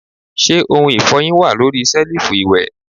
Se ohun ifohin wa lori selifu iwẹ?